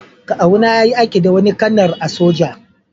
Kawu na yayi aiki da wani kanar a'soja.